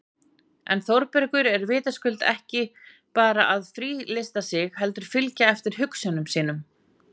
En Þórbergur er vitaskuld ekki bara að frílysta sig heldur fylgja eftir hugsjónum sínum